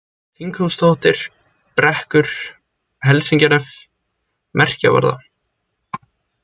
Þinghústóftir, Brekkur, Helsingjanef, Merkjavarða